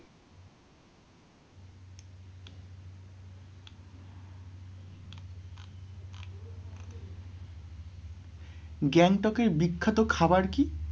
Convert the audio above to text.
গ্যাংটকের বিখ্যাত খাবার কি?